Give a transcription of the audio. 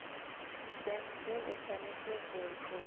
mopresidente o swanetše go tloša